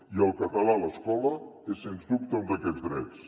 i el català a l’escola és sens dubte un d’aquests drets